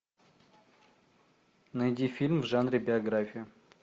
найди фильм в жанре биография